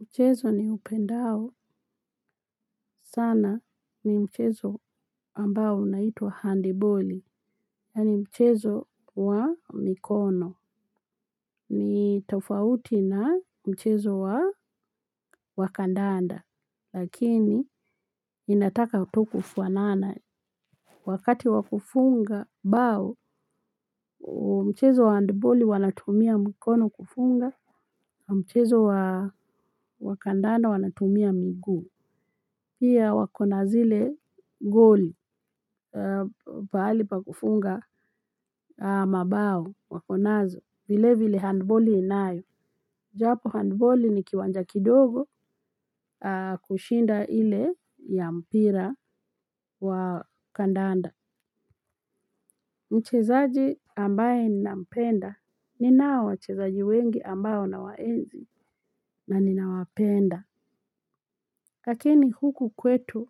Mchezo niupendao sana ni mchezo ambao unaituwa handiboli. Yani mchezo wa mikono. Ni tafauti na mchezo wa wa kandanda. Lakini inataka tu kufuanana. Wakati wakufunga bao mchezo wa handiboli wanatumia mikono kufunga. Mchezo wa wakandanda wanatumia miguu. Hiya wakona zile ngoli. Pahali pa kufunga mabao wakonazo vile vile handballi inayo japo handballi ni kiwanja kidogo kushinda ile ya mpira wa kandanda mchezaji ambaye ninampenda ninao wachezaji wengi ambao nawaenzi na ninawapenda lakini huku kwetu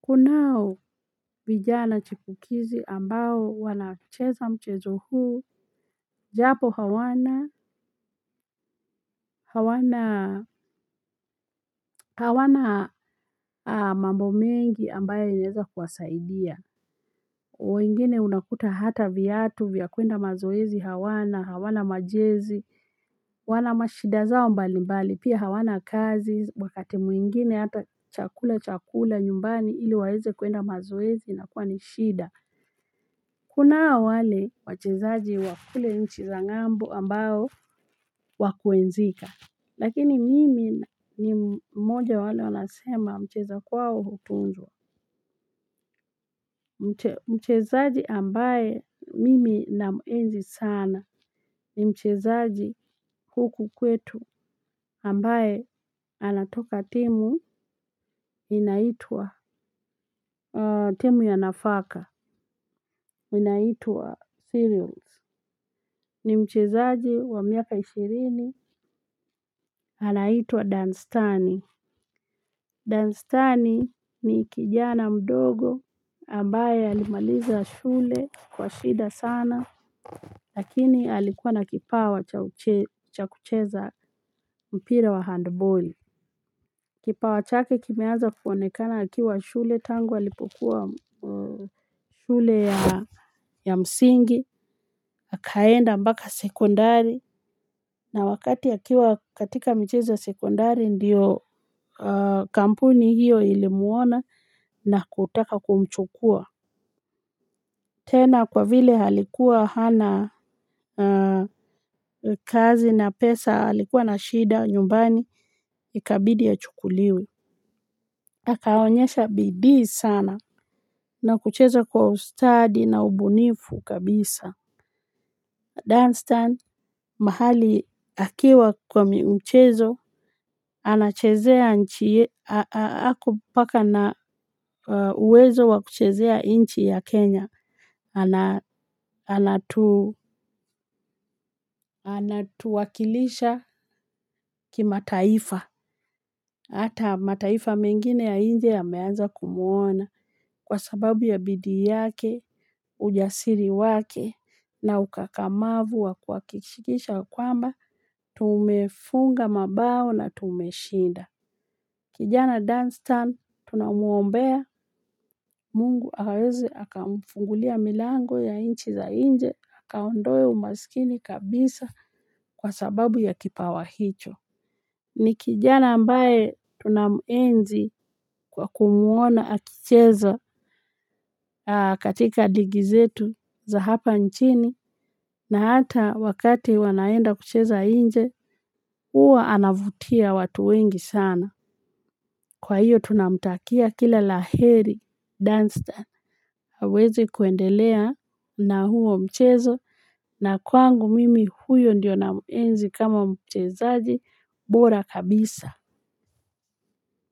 kunao vijana chipukizi ambao wanacheza mchezo huu. Japo hawana, hawana, hawana mambo mengi ambayo inaeza kuwasaidia. Wengine unakuta hata viatu, vya kwenda mazoezi hawana, hawana majezi, wanamashida zao mbali mbali, pia hawana kazi, wakati mwingine hata chakula cha kula nyumbani iliwaeze kwenda mazoezi inakuwa ni shida. Kunao wale wachezaji wa kule nchi za ng'ambo ambao wa kuenzika. Lakini mimi ni mmoja wale wanasema mcheza kwao hutunzwa. Mchezaji ambaye mimi namuenzi sana ni mchezaji huku kwetu ambaye anatoka timu inaitwa timu ya nafaka inaitwa Sirius. Ni mchezaji wa miaka ishirini anaitwa Danstani. Danstani ni kijana mdogo ambaye alimaliza shule kwa shida sana lakini alikuwa na kipawa cha kucheza mpira wa handball. Kipawa chake kimeaza kuonekana akiwa shule tangu alipokuwa shule ya msingi, akaenda mbaka sekondari na wakati akiwa katika michezo ya sekondari ndiyo kampuni hiyo ilimuona na kutaka kumchukua. Tena kwa vile alikuwa hana kazi na pesa alikuwa na shida nyumbani ikabidi achukuliwe. Akaonyesha bidii sana na kucheza kwa ustadi na ubunifu kabisa. Dunstan, mahali akiwa kwa mchezo, anachezea nchi, ako mpaka na uwezo wa kuchezea inchi ya Kenya, anatuwakilisha kimataifa. Hata mataifa mengine ya inje yameanza kumuona kwa sababu ya bidii yake, ujasiri wake na ukakamavu wa kuhakishikisha kwamba, tumefunga mabao na tumeshinda. Kijana Dunstan tunamuombea mungu aweze aka mfungulia milango ya inchi za inje, akaondoe umaskini kabisa kwa sababu ya kipawa hicho. Ni kijana ambae tunamuenzi kwa kumuona akicheza katika ligi zetu za hapa nchini na hata wakati wanaenda kucheza inje, uwa anavutia watu wengi sana. Kwa hiyo tunamtakia kila la heri Dunstan, aweze kuendelea na huo mchezo na kwangu mimi huyo ndio namuenzi kama mchezaji bora kabisa.